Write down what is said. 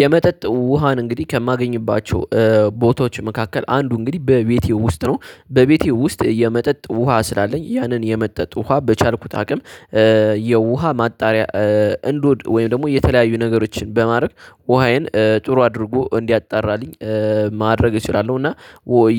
የመጠጥ ውሃን እንግዲህ ከማገኝባቸው ቦታዎች መካከል አንዱ እንግዲህ በቤቴ ውስጥ ነው በቤቴ ውስጥ የመጠጥ ውሃ ስላለኝ ያንን የመጠጥ ውሃ በቻልኩት አቅም። የውሃ ማጣሪያ እንዶድ ወይም ደግሞ የተለያዩ ነገሮችን በማድረግ ውሃዬን ጥሩ አድርጎ እንዲያጣራልኝ ማድረግ እችላለሁ። እና